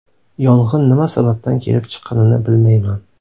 Yong‘in nima sababdan kelib chiqqanini bilmayman.